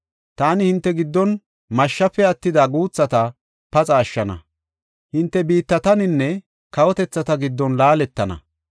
Taani hinte giddon mashshafe attida guuthata paxa ashshana; hinte biittataninne kawotethata giddon laaletana.